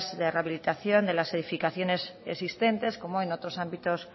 de rehabilitación de las edificaciones existentes como en otros ámbitos